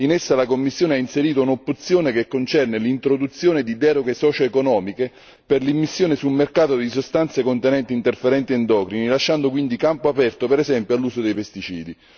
In essa la Commissione ha inserito un'opzione che concerne l'introduzione di deroghe socioeconomiche per l'immissione sul mercato di sostanze contenenti interferenti endocrini, lasciando quindi campo aperto, per esempio, all'uso dei pesticidi.